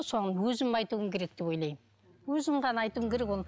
соған өзім айтуым керек деп ойлаймын өзім ғана айтуым керек ол